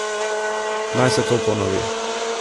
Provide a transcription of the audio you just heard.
Naj se to ponovi!